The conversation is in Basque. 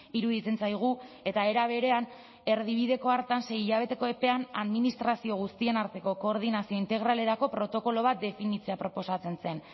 iruditzen zaigu eta era berean erdibideko hartan sei hilabeteko epean administrazio guztien arteko koordinazio integralerako protokolo bat definitzea proposatzen zen